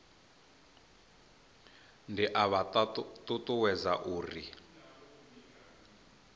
ndi a vha ṱuṱuwedza u